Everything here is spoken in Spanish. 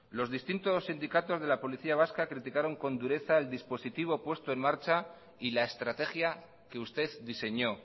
los distintos sindicatos de la policía vasca criticaron con dureza el dispositivo puesto en marcha y la estrategia que usted diseñó